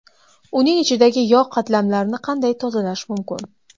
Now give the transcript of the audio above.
Uning ichidagi yog‘ qatlamlarini qanday tozalash mumkin?